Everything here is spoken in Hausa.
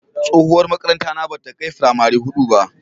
Tsohuwar makarantara bata kai firamari hudu ba.